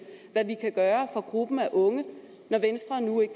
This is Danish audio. hvad vi kan gøre for gruppen af unge